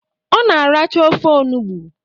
Ọ na aracha ofe onugbo.